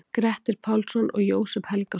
Grettir Pálsson og Jósep Helgason.